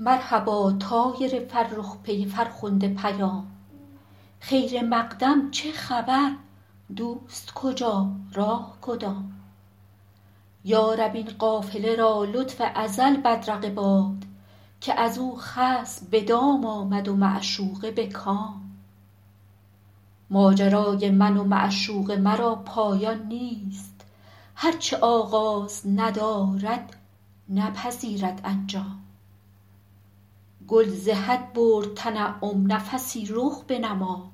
مرحبا طایر فرخ پی فرخنده پیام خیر مقدم چه خبر دوست کجا راه کدام یا رب این قافله را لطف ازل بدرقه باد که از او خصم به دام آمد و معشوقه به کام ماجرای من و معشوق مرا پایان نیست هر چه آغاز ندارد نپذیرد انجام گل ز حد برد تنعم نفسی رخ بنما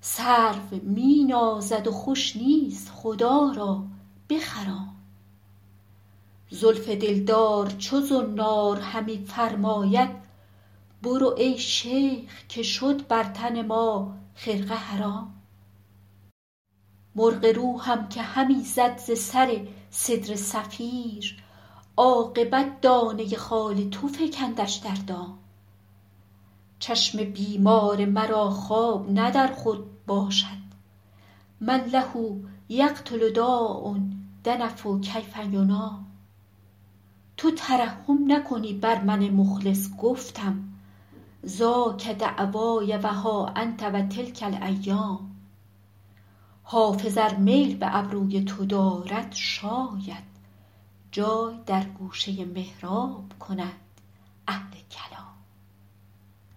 سرو می نازد و خوش نیست خدا را بخرام زلف دلدار چو زنار همی فرماید برو ای شیخ که شد بر تن ما خرقه حرام مرغ روحم که همی زد ز سر سدره صفیر عاقبت دانه خال تو فکندش در دام چشم بیمار مرا خواب نه در خور باشد من له یقتل داء دنف کیف ینام تو ترحم نکنی بر من مخلص گفتم ذاک دعوای و ها انت و تلک الایام حافظ ار میل به ابروی تو دارد شاید جای در گوشه محراب کنند اهل کلام